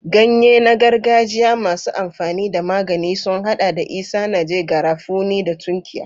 Ganye na gargajiya masu amfani da magani sun hada da isanaje, garafuni, da tunkiya.